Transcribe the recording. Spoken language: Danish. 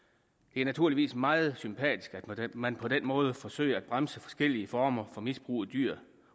det er naturligvis meget sympatisk at man på den måde forsøger at bremse forskellige former for misbrug af dyr